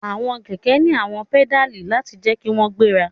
Awọn kẹkẹ ni awọn pedali lati jẹ ki wọn gbera